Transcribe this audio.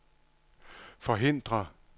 forhindre